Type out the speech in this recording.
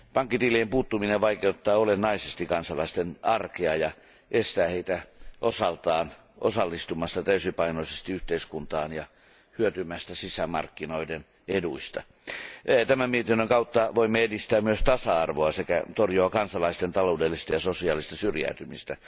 Pankkitilien puuttuminen vaikeuttaa olennaisesti kansalaisten arkea ja estää heitä osaltaan osallistumasta täysipainoisesti yhteiskuntaan ja hyötymästä sisämarkkinoiden eduista. Tämän mietinnön kautta voimme edistää myös tasa arvoa sekä torjua kansalaisten taloudellista ja sosiaalista syrjäytymistä.